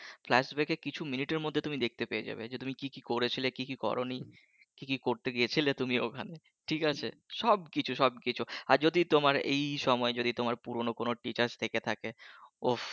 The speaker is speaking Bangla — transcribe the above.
Flash back এ কিছু মিনিট এর মধ্যে তুমি দেখতে পেয়ে যাবে যে তুমি কী কী করেছিলে কী কী করনি কী কী করতে গিয়েছিলে তুমি ওখানে ঠিক আছে? সব কিছু সব কিছু আর যদি তোমার এই সময়ে যদি তোমার পুরনো কোনো teacher থেকে থাকে ওফস